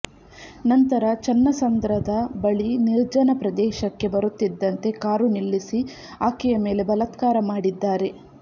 ನಂತರ ಚನ್ನಸಂದ್ರದ ಬಳಿ ನಿರ್ಜನ ಪ್ರದೇಶಕ್ಕೆ ಬರುತ್ತಿದ್ದಂತೆ ಕಾರು ನಿಲ್ಲಿಸಿ ಆಕೆಯ ಮೇಲೆ ಬಲತ್ಕಾರ ಮಾಡಿದ್ದಾರೆ